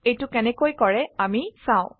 এইটো কেনেকৈ কৰে আমি চাও